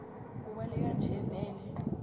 ubaleka nje vele